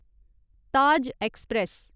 Taj express